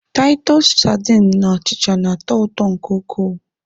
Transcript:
Taịtọs sadin na achịcha na-atọ ụtọ nke ukwuu.